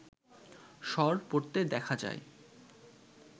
সর পড়তে দেখা যায়